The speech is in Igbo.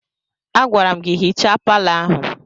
Agwara m gị hichaa palọ ahụ!